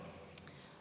Hanah Lahe, palun!